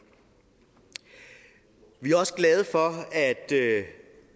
vi er også glade for at